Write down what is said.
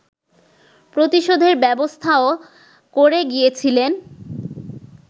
প্রতিশোধের ব্যবস্থাও করে গিয়েছিলেন